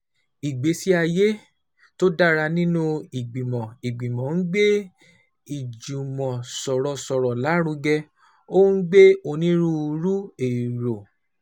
Ìgbésí ayé tó dára nínú ìgbìmọ̀ ìgbìmọ̀ ń gbé ìjùmọ̀sọ̀rọ̀sọ̀rọ̀ lárugẹ, ó ń gbé onírúurú èrò